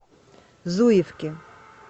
зуевки